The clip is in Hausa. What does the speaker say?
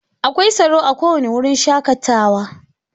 Akwai tsaro a kowane wurin shakatawa.